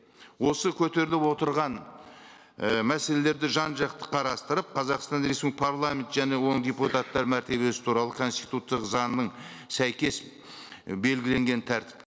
осы көтеріліп отырған і мәселелерді жан жақты қарастырып қазақстан парламент және оның депутаттары мәртебесі туралы конституциялық заңына сәйкес і белгіленген тәртіп